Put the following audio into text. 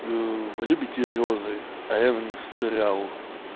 ээ любите розы а я на них застрял